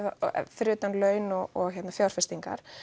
fyrir utan laun og fjárfestingar